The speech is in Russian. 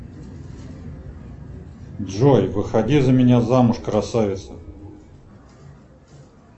джой выходи за меня замуж красавица